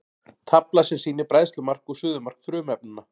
Tafla sem sýnir bræðslumark og suðumark frumefnanna.